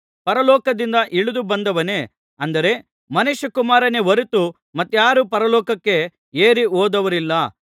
ಪರಲೋಕದಿಂದ ಇಳಿದು ಬಂದವನೇ ಅಂದರೆ ಮನುಷ್ಯಕುಮಾರನೇ ಹೊರತು ಮತ್ತಾರು ಪರಲೋಕಕ್ಕೆ ಏರಿ ಹೋದವರಿಲ್ಲ